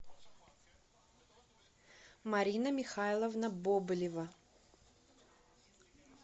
марина михайловна бобылева